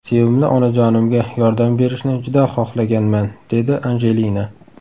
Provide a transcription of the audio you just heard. Sevimli onajonimga yordam berishni juda xohlaganman”, dedi Anjelina.